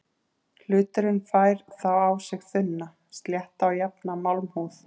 Hluturinn fær þá á sig þunna, slétta og jafna málmhúð.